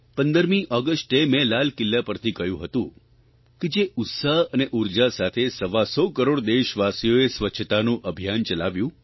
15મી ઓગષ્ટે મેં લાલ કિલ્લા પરથી કહ્યું હતું કે જે ઉત્સાહ અને ઉર્જા સાથે સવાસો કરોડ દેશવાસીઓએ સ્વચ્છતાનું અભિયાન ચલાવ્યું